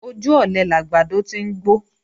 Ojú ọ̀lẹ làgbàdo ti ń gbó